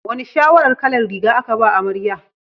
Wane shawarar kalar riga aka ba amarya?